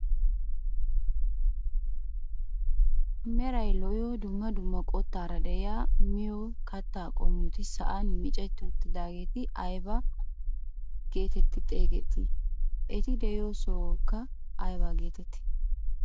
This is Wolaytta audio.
Meraykka lo"iyoo dumma dumma qottaara de'iyaa miyoo kattaa qommoti sa'aan micceti uttidaagee aybaa getettii xegettii? Eti de'iyoo sohoykka ayba getettii?